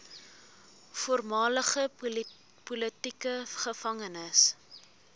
voormalige politieke gevangenes